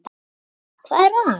Linda: Hvað er það?